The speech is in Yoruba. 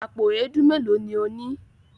Àpò èédú mélòó ni o ní?